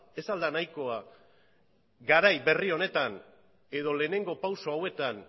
ez al da nahikoa garai berri honetan edo lehenengo pausu hauetan